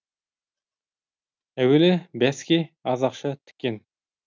әуелі бәске аз ақша тіккен